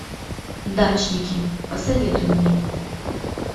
дачники посоветуй мне